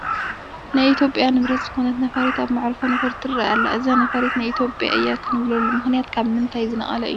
ናይ ኢትዮጵያ ንብረት ዝኾነት ነፋሪት ኣብ መዕርፎ ነፈርቲ ትርአ ኣላ፡፡ እዚ ነፋሪት ናይ ኢትዮጵያ እያ ክንብለሉ ምኽንያት ካብ ምንታይ ዝነቐለ እዩ?